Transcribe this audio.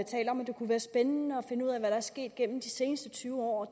taler om at det kunne være spændende at finde ud af hvad der er sket gennem de seneste tyve år